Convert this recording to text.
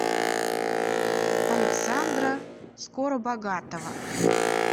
александра скоробогатова